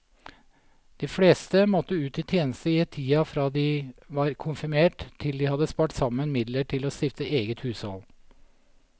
De fleste måtte ut i tjeneste i tida fra de var konfirmert til de hadde spart sammen midler til å stifte eget hushold.